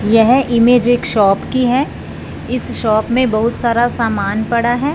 यह इमेज एक शॉप की है इस शॉप में बहुत सारा सामान पड़ा है।